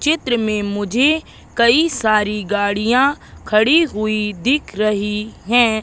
चित्र में मुझे कई सारी गाड़ियां खड़ी हुई दिख रही हैं।